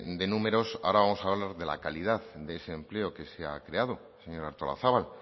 de números ahora vamos a hablar de la calidad de ese empleo que se ha creado señora artolazabal